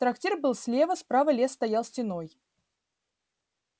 трактир был слева справа лес стоял стеной